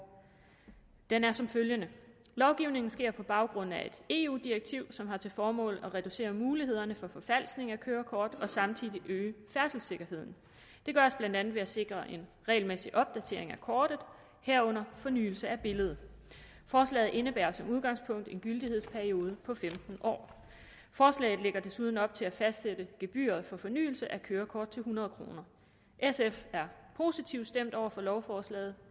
den er som følgende lovgivningen sker på baggrund af et eu direktiv som har til formål at reducere mulighederne for forfalskning af kørekort og samtidig øge færdselssikkerheden det gøres blandt andet ved at sikre en regelmæssig opdatering af kortet herunder fornyelse af billedet forslaget indebærer som udgangspunkt en gyldighedsperiode på femten år forslaget lægger desuden op til at fastsætte gebyret for fornyelse af kørekort til hundrede kroner sf er positivt stemt over for lovforslaget